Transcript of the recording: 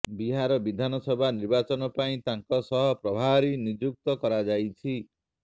ବିହାର ବିଧାନସଭା ନିର୍ବାଚନ ପାଇଁ ତାଙ୍କୁ ସହ ପ୍ରଭାରୀ ନିଯୁକ୍ତ କରାଯାଇଛି